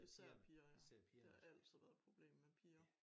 Især piger ja det har altid været et problem med piger